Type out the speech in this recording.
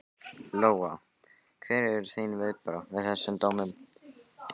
Lóa: Hver eru þín viðbrögð við þessum dómum?